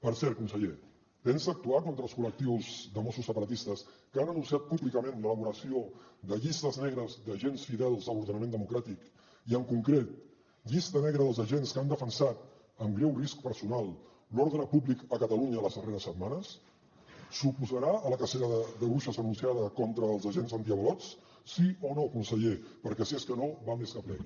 per cert conseller pensa actuar contra els col·lectius de mossos separatistes que han anunciat públicament l’elaboració de llistes negres d’agents fidels a l’ordenament democràtic i en concret llista negra dels agents que han defensat amb greu risc personal l’ordre públic a catalunya les darreres setmanes s’oposarà a la cacera de bruixes anunciada contra els agents antiavalots sí o no conseller perquè si és que no val més que plegui